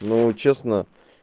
ну честно